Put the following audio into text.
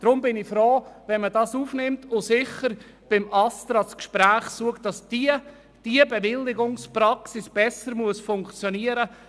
Deshalb bin ich froh, wenn man das Anliegen aufnimmt und mit dem ASTRA das Gespräch sucht, damit diese Bewilligungspraxis besser funktioniert.